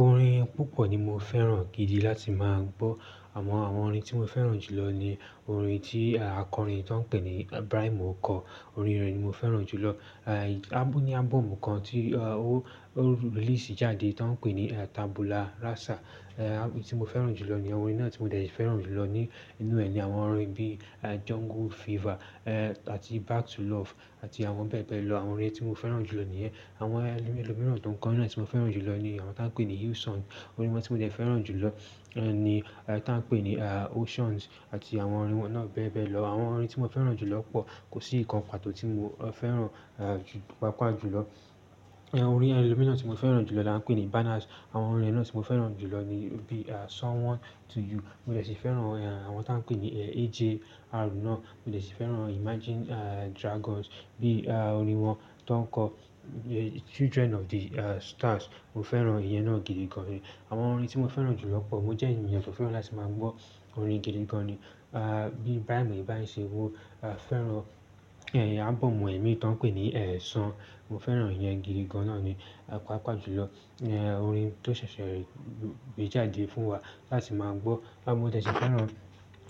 Orin púpọ̀ ni mo fẹ́ràn gidi láti máa gbọ́. Àmọ àwọn orin tí mo fẹ́ràn jù lọ ni orin tí akọrin tó ń pè ní Braimọ kọ. Orin rẹ̀ ni mo fẹ́ràn jù lọ. Aì, ábu ní ábọ́ọ̀mù kan tí, a, ó release jáde tó ń pè ní Tabula Rasa, a, tí mo fẹ́ràn jù lọ ni orin náà tí mo dẹ̀ fẹ́ràn jù lọ ní inú rẹ̀ ni àwọn orin bí Jungle Fever, e, àti Back to Love àti àwọn bẹ́ẹ̀ bẹ́ẹ̀ lọ. Àwọn orin tí mo fẹ́ràn jù lọ níyẹn. Àwọn ẹlòmíràn tó ń kọ orin náà tí mo fẹ́ràn jù lọ ni àwọn tó ń pè ní Houston. Orin tí mo dẹ̀ ṣì fẹ́ràn jù lọ, ẹ́, ni, a, tó ń pè ní, a, Oceans àti àwọn orin wọn náà bẹ́ẹ̀ bẹ́ẹ̀ lọ. Àwọn orin tí mo fẹ́ràn jù lọ pọ̀, kò sí ìkan pàtó tí mo fẹ́ràn, a, ju pàápàá jù lọ. Ẹ̀, orin ẹlòmíràn tí mo fẹ́ràn jù lọ là ń pè ní Banas. Àwọn orin rẹ̀ náà tí mo fẹ́ràn jù lọ ni bí Someone To You. Mo dẹ̀ ṣì fẹ́ràn, a, àwọn tó ń pè ní AJ Arun náà. Mo dẹ̀ ṣì fẹ́ràn Imagine, a, Dragons bí, a, orin wọn tó ń kọ Children of the, a, Stars. Mo fẹ́ràn ìyẹn náà gidi gan ni. Àwọn orin tí mo fẹ́ràn jù lọ pọ̀. Mo jẹ́ ènìyàn tó fẹ́ràn láti máa gbọ́ orin gidi gan ni. A, bí Braimọ ibà ṣe, ó, a, fẹ́ràn, ẹ́, ábọ́ọ̀mù ẹ̀ mí tó ń pè ní ẹ̀san. Mo fẹ́ràn ìyẹn gidi gan náà ni pàápàá jù lọ. Ẹ́, orin tó ṣẹ̀ṣẹ̀ rí bé jáde fún wa láti máa gbọ́. Ah mo dẹ̀ ṣì fẹ́ràn